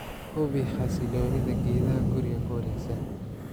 Hubi xasiloonida geedaha guriga ku wareegsan"